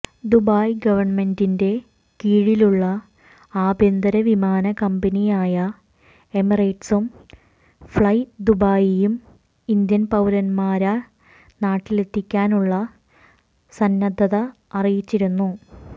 Dubai ഗവർമെണ്ടിന്റെ കീഴിലുള്ള ആഭ്യന്തര വിമാന കമ്പനിയായ എമിറേറ്റ്സും ഫ്ളൈ ദുബായിയും ഇന്ത്യൻ പൌരമാരെ നാട്ടിലെത്തിക്കാനുള്ള സന്നദ്ധത അറിയിച്ചിരുന്നു